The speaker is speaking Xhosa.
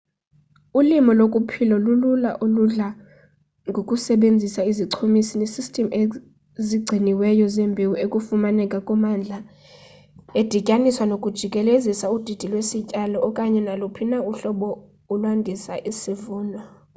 ulimo lokuphila lulula oludla ngokusebenzisa izichumisi nesystem ezigciniweyo zembewu efumaneka kummandla edityaniswa nokujikelezisa udidi lwesityalo okanye naluphi na uhlobo ulwandisa isivuno